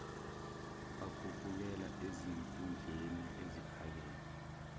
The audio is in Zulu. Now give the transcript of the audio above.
bakhuphukela ezikhundleni eziphakeme